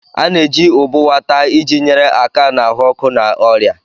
A na-eji ubuwa taa iji nyere aka na ahụ ọkụ na ọrịa.